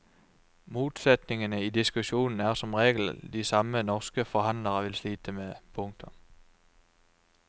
Motsetningene i diskusjonen er som regel de samme norske forhandlere vil slite med. punktum